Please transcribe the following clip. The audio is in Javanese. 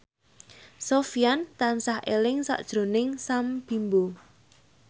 Sofyan tansah eling sakjroning Sam Bimbo